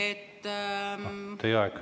Teie aeg!